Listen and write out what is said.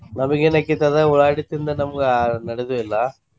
ನಮಗೇನ ಆಕ್ಕೇತಿ ಅದ ಉಳ್ಳಾಗಡ್ಡಿ ತಿಂದ್ ನಮ್ಗ ನಡಿಯೋದ ಇಲ್ಲ.